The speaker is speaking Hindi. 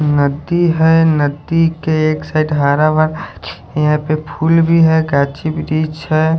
नदी है नदी के एक साइड हरा भरा यहां पे फूल भी है गाछी वृक्ष है।